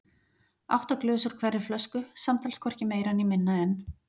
Átta glös úr hverri flösku, samtals hvorki meira né minna en